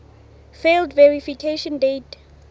failed verification date